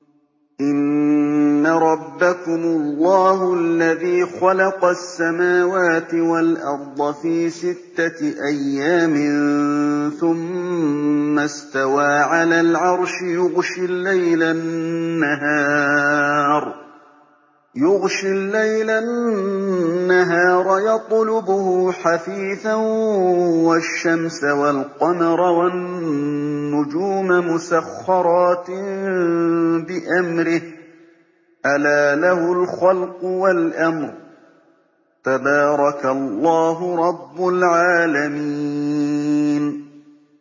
إِنَّ رَبَّكُمُ اللَّهُ الَّذِي خَلَقَ السَّمَاوَاتِ وَالْأَرْضَ فِي سِتَّةِ أَيَّامٍ ثُمَّ اسْتَوَىٰ عَلَى الْعَرْشِ يُغْشِي اللَّيْلَ النَّهَارَ يَطْلُبُهُ حَثِيثًا وَالشَّمْسَ وَالْقَمَرَ وَالنُّجُومَ مُسَخَّرَاتٍ بِأَمْرِهِ ۗ أَلَا لَهُ الْخَلْقُ وَالْأَمْرُ ۗ تَبَارَكَ اللَّهُ رَبُّ الْعَالَمِينَ